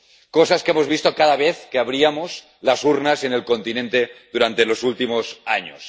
Cosas que hemos visto cada vez que abríamos las urnas en el continente durante los últimos años.